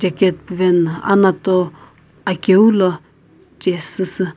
Jacket puveno anato akeu lo chesüsü.